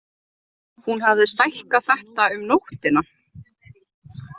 Hún hafði stækkað þetta um nóttina.